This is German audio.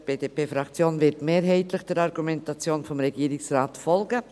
Die BDP-Fraktion wird der Argumentation des Regierungsrates mehrheitlich folgen.